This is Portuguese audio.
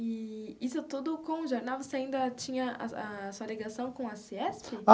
Eee isso tudo com o jornal, você ainda tinha a a sua ligação com a CIESP?